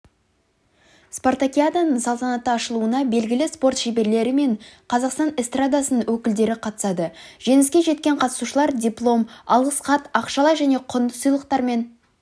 спартакиаданың салтанатты ашылуына белгілі спорт шеберлері мен қазақстан эстрадасының өкілдері қатысады жеңіске жеткен қатысушылар диплом алғыс хат ақшалай және құнды сыйлықтармен